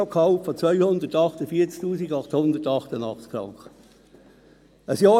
Diese ergeben ein Bruttogehalt von 248 888 Franken.